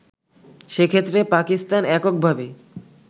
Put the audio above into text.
সেক্ষেত্রে পাকিস্তান এককভাবে